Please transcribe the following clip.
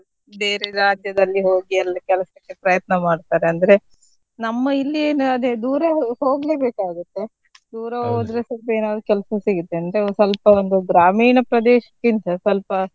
ಬೇರೆ ರಾಜ್ಯದಲ್ಲಿ ಹೋಗಿ ಅಲ್ಲಿ ಕೆಲಸಕ್ಕೆ ಪ್ರಯತ್ನ ಮಾಡ್ತಾರೆ ಅಂದ್ರೆ ನಮ್ಮ ಇಲ್ಲಿ ಎಲ್ಲ ಅದೇ ದೂರ ಹೋಗ್ಲೇಬೇಕಾಗುತ್ತೆ. ದೂರ ಹೋದ್ರೆ ಏನಾದ್ರು ಕೆಲಸ ಸಿಗತ್ತೆ ಅಂದ್ರೆ ಒಂದು ಸ್ವಲ್ಪ ಒಂದು ಗ್ರಾಮೀಣ ಪ್ರದೇಶಕ್ಕಿಂತ ಸ್ವಲ್ಪ.